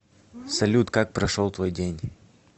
салют как прошел твой день